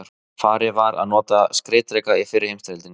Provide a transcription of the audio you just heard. Farið var að nota skriðdreka í fyrri heimsstyrjöldinni.